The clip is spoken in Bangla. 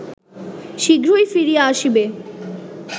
শীঘ্রই ফিরিয়া আসিবে